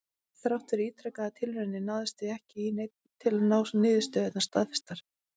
Þrátt fyrir ítrekaðar tilraunir náðist því miður ekki í neinn til að fá niðurstöðurnar staðfestar.